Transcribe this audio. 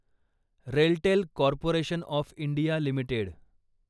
RailTel corporation of India limited